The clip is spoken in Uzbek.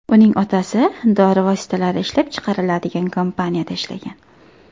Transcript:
Uning otasi dori vositalari ishlab chiqariladigan kompaniyada ishlagan.